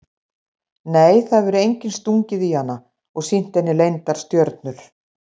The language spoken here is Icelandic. Nei það hefur enginn stungið í hana og sýnt henni leyndar stjörnur.